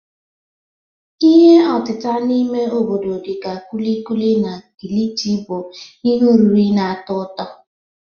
Ihe otita n'ime obodo dị ka kulikuli na kilichi bụ ihe oriri na-atọ ụtọ